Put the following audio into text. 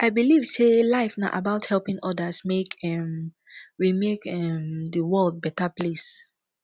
i believe sey life na about helping odas make um we make um di world beta place